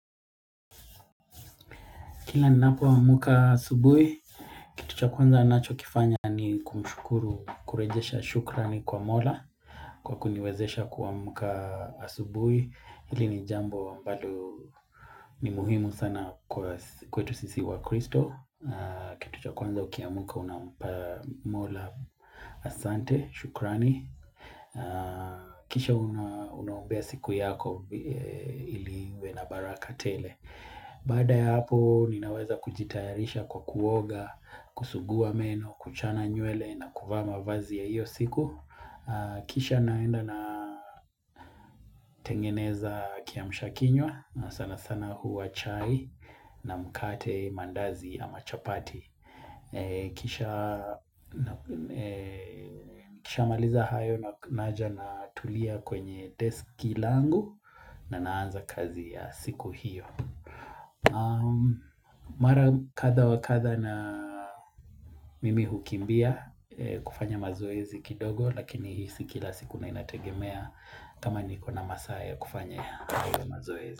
Kila ninapoamka asubuhi, kitu cha kwanza ninachokifanya ni kumshukuru kurejesha shukrani kwa mola kwa kuniwezesha kuamka asubuhi, hili ni jambo ambalo ni muhimu sana kwa kwetu sisi wakristo Kitu cha kwanza ukiamka unampa mola asante, shukrani. Kisha unaombea siku yako ili iwe na baraka tele Baada ya hapo ninaweza kujitayarisha kwa kuoga, kusugua meno, kuchana nywele na kuvaa mavazi ya hiyo siku Kisha naenda natengeneza kiamsha kinywa na sana sana huwa chai na mkate, mandazi ama chapati Nikishamaliza hayo naja natulia kwenye deski langu na naanza kazi ya siku hiyo Mara kadha wa kadha mimi hukimbia kufanya mazoezi kidogo Lakini sio kila siku inategemea kama niko na masaa ya kufanya mazoezi.